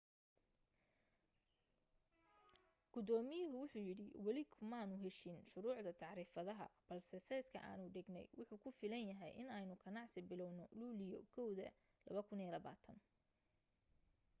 gudoomiyuhu wuxu yiri weli kumaanu heshiin shuruucda tacriifadaha balse seeska aanu dhignay wuxu ku filan yahay inaynu ganacsi bilawno luulyo 1 2020